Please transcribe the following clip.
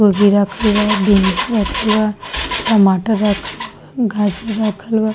गोभी रखल बा बीन्स रखल बा टमाटर रखल बा गाजर रखल बा।